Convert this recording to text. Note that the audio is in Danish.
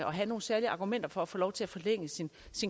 og have nogle særlige argumenter for at få lov til at forlænge sin